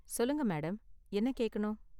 சொல்லுங்க மேடம், என்ன கேக்கணும்?